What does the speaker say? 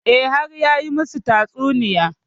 E, har ya yi masu tatsuniyar.